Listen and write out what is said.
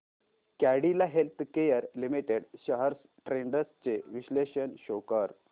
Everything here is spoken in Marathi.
Cadila healthcare limited shares trends चे विश्लेषण शो कर